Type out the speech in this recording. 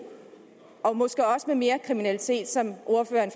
og måske også i mere kriminalitet som ordføreren